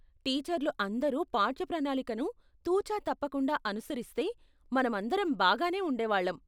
టీచర్లు అందరు పాఠ్య ప్రణాళికను తుచ తప్పకుండా అనుసరిస్తే మన మందరం బాగానే ఉండే వాళ్ళం.